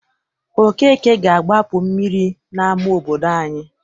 Okeke ga-agbapu mmiri n'ama obodo anyị.